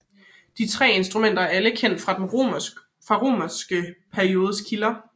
De 3 instrumenter er alle kendt fra den romanske periodes kilder